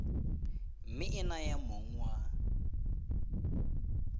mme e naya mong wa